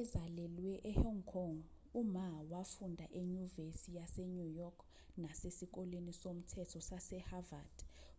ezalelwe ehong kong u-ma wafunda enyuvesi yasenew york nasesikoleni somthetho sase-havard